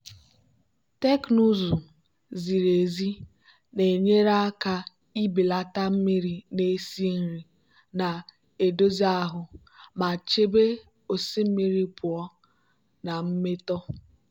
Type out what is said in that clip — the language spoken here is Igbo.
teknụzụ ziri ezi na-enyere aka ibelata mmiri na-esi nri na-edozi ahụ ma chebe osimiri pụọ na mmetọ.